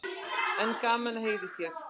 En gaman að heyra í þér.